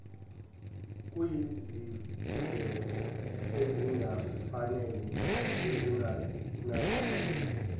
kuyizindleko ezingafanele nezingenazithelo